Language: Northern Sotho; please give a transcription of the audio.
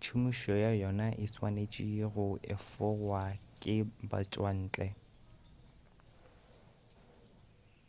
tšhomišo ya yona e swanetše go efogwa ke batšwantle